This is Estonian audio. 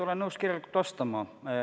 Olen nõus kirjalikult vastama.